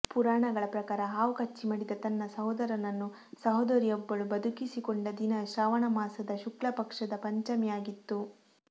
ಪುರಾಣಗಳ ಪ್ರಕಾರ ಹಾವು ಕಚ್ಚಿ ಮಡಿದ ತನ್ನ ಸಹೋದರನನ್ನು ಸಹೋದರಿಯೊಬ್ಬಳು ಬದುಕಿಸಿಕೊಂಡ ದಿನ ಶ್ರಾವಣ ಮಾಸದ ಶುಕ್ಲ ಪಕ್ಷದ ಪಂಚಮಿಯಾಗಿತ್ತು